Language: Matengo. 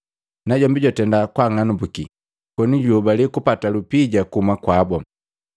Najombi jwatenda kwaang'anambuki, koni juhobale kupata lupija kuhuma kwabu.